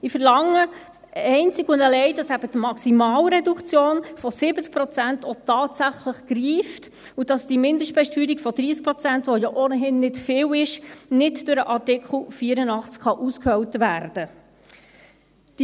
ich verlange einzig und allein, dass eben die Maximalreduktion von 70 Prozent auch tatsächlich greift, und dass die Mindestbesteuerung von 30 Prozent, die ja ohnehin nicht viel ist, nicht durch den Artikel 84 ausgehöhlt werden kann.